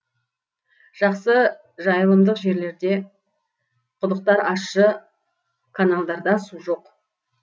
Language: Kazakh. жақсы жайылымдық жерлерде құдықтар ащы каналдарда су жоқ